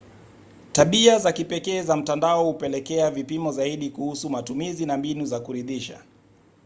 tabia za kipekee za mtandao hupelekea vipimo zaidi kuhusu matumizi na mbinu za kuridhisha